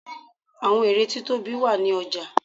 àwọn ère tí tóbi ó wà ní ọja